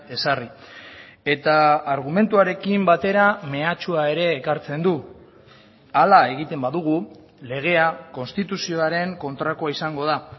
ezarri eta argumentuarekin batera mehatxua ere ekartzen du hala egiten badugu legea konstituzioaren kontrakoa izango da